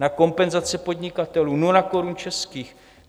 Na kompenzace podnikatelům 0 korun českých.